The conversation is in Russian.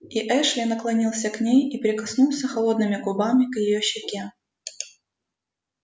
и эшли наклонился к ней и прикоснулся холодными губами к её щеке